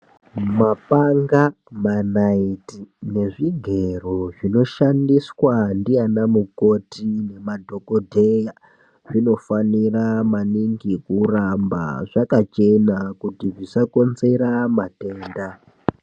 Mapanga ,manaiti nezvigero zvinoshandiswa ndiana mukoti nemadhokodheya zvinofanira maningi kuramba zvakachena kuti zvisakonzera matenda.